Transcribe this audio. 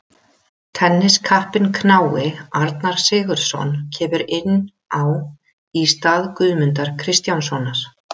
Tenniskappinn knái Arnar Sigurðsson kemur inn á í stað Guðmundar Kristjánssonar.